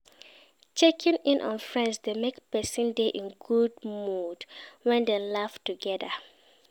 Checking in on friends de make persin de in good mood when dem laugh together